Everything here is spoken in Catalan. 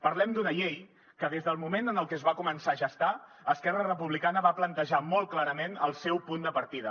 parlem d’una llei que des del moment en el que es va començar a gestar esquerra republicana va plantejar molt clarament el seu punt de partida